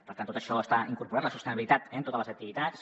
per tant tot això està incorporat la sostenibilitat en totes les activitats